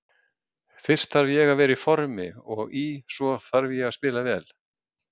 Fyrst þarf ég að vera í formi og í svo þarf ég að spila vel.